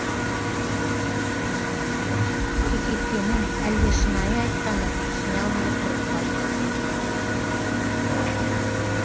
кекеткенін әлде шынайы айтқанын түсіне алмай тұрып қалдым